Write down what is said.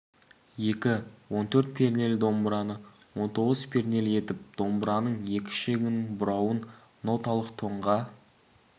екі он төрт пернелі домбыраны он тоғыз пернелі етіп домбыраның екі ішегінің бұрауын ноталық тонға